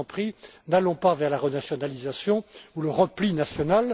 Je vous en prie, n'allons pas vers la renationalisation ou le repli